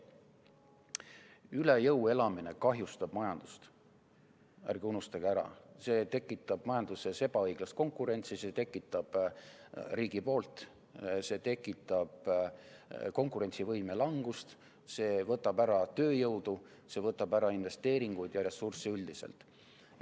Üle jõu elamine kahjustab majandust, ärge unustage ära, see tekitab majanduses ebaõiglast konkurentsi riigi poolt, see tekitab konkurentsivõime langust, see võtab ära tööjõudu, see võtab ära investeeringuid ja ressursse üldiselt.